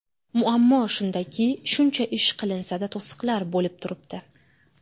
Muammo shundaki, shuncha ish qilinsa-da, to‘siqlar bo‘lib turibdi.